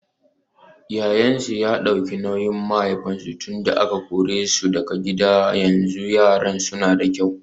Yayansu ya dauki nauyin mahaifinsu tunda aka kore su daga gida yanzu yaran nan suna da kyau.